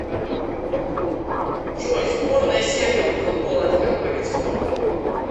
джой сборная сербии по футболу это какой вид спорта